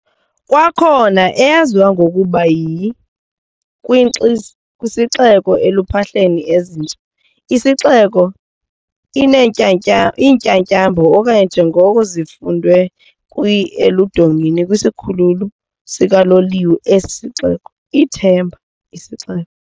Kwakhona eyaziwa ngokuba yi kwinxiz "kwisixeko eluphahleni ezintsha," "Isixeko Iintyatyambo", okanye njengoko zifundwe kwi eludongeni kwisikhululo sikaloliwe esi sixeko, "ithemba isixeko."